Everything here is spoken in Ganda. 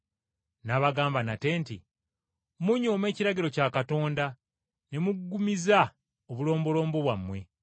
N’abagamba nate nti, “Munyooma ekiragiro kya Katonda, ne muggumiza obulombolombo bwammwe.